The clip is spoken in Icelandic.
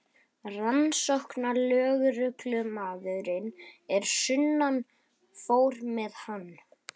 Rannsóknarlögreglumaðurinn að sunnan fór með hann.